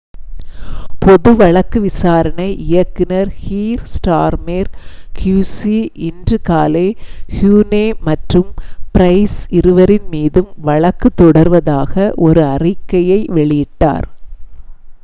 பொது வழக்கு விசாரணை இயக்குநர் கீய்ர் ஸ்டார்மெர் qc இன்று காலை ஹூனே மற்றும் ப்ரைஸ் இருவரின் மீதும் வழக்கு தொடருவதாக ஒரு அறிக்கையை வெளியிட்டார்